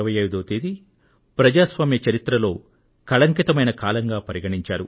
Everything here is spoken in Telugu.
జూన్ 25వ తేదీ ప్రజాస్వామ్య చరిత్రలో కళంకితమైన కాలంగా పరిగణించారు